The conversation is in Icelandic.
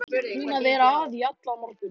Búin að vera að í allan morgun.